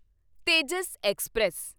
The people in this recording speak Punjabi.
ਤੇਜਸ ਐਕਸਪ੍ਰੈਸ